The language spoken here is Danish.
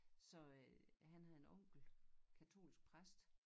Så øh han havde en onkel katolsk præst